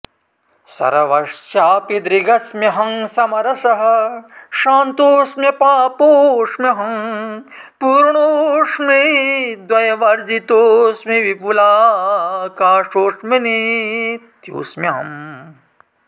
सर्वस्यापि दृगस्म्यहं समरसः शान्तोऽस्म्यपापोऽस्म्यहं पूर्णोऽस्मि द्वयवर्जितोऽस्मि विपुलाकाशोऽस्मि नित्योऽस्म्यहम्